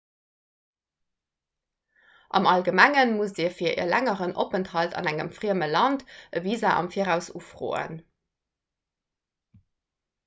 am allgemengen musst dir fir e längeren openthalt an engem frieme land e visa am viraus ufroen